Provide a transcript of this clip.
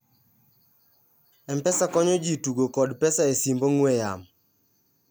mpesa konyo ji tugo kod pesa e simb ong'we yamo